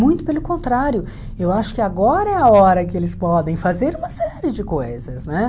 Muito pelo contrário, eu acho que agora é a hora que eles podem fazer uma série de coisas, né?